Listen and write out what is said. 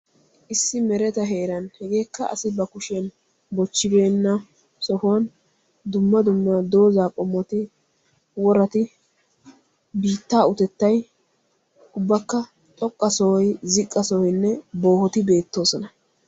Issi mereta heeran heegeekka asi ba kushiyan bochchibeenna sohuwan dumma dumma dozzaa qommoti worati biittaa utettay ubbakka xoqqa sohoy, ziqqa sohoynne boohoti beettoosona.